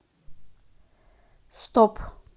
стоп